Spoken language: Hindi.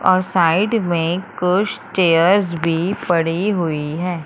और साइड में कुछ चेयर्स भी पड़ी हुई हैं।